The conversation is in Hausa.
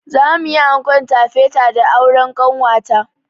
Za mu yi ankon tafeta da auren ƙanwata.